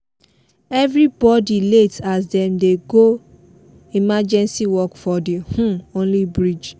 everybody late as dem dey do emergency work for the um only bridge